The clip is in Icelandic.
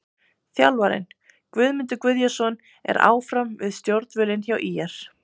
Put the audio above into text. Þjálfarinn: Guðmundur Guðjónsson er áfram við stjórnvölinn hjá ÍR.